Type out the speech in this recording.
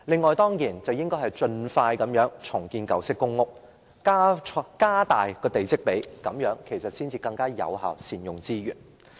此外，政府應該盡快重建舊式公屋，並加大地積比率，更有效地善用資源。